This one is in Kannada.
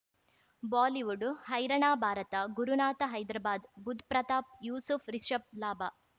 ಬಾಲಿವುಡ್ ಹೈರಾಣ ಭಾರತ ಗುರುನಾಥ ಹೈದರಾಬಾದ್ ಬುಧ್ ಪ್ರತಾಪ್ ಯೂಸುಫ್ ರಿಷಬ್ ಲಾಭ